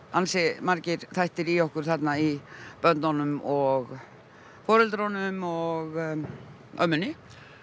ansi margir þættir í okkur þarna í börnunum og foreldrunum og ömmunni